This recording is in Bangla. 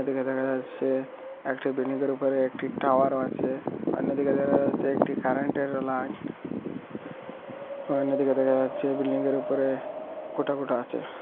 এদিকে দেখা যাচ্ছে একটা বিল্ডিং য়ের উপরে একটি টাওয়ার ও আছে অন্যদিকে দেখা যাচ্ছে একটি কারেন্টের ও লাইন অন্যদিকে দেখা যাচ্ছে বিল্ডিং য়ের উপরে খোটাপোতা আছে।